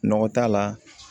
Nɔgɔ t'a la